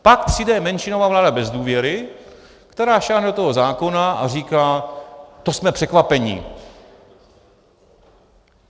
Pak přijde menšinová vláda bez důvěry, která sáhne do toho zákona a říká: to jsme překvapeni.